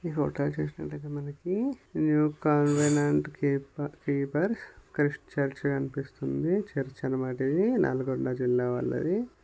ఇక్కడ చూస్తున్నట్లయితే మనకి న్యూ కలవలేంట్ కీప్__కీపర్ క్రీస్తు చర్చ్ కనిపిస్తుంది చర్చి అన్న మాట ఇది నల్గొండ జిల్లా వాళ్ళది.